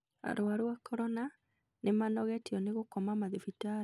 Arwaru a korona nĩmanogetio nĩ gũkoma mathibitarĩinĩ